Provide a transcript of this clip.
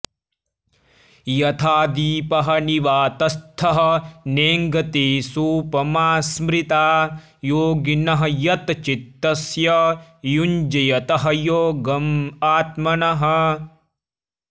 यथा दीपः निवातस्थः नेङ्गते सोपमा स्मृता योगिनः यतचित्तस्य युञ्जतः योगम् आत्मनः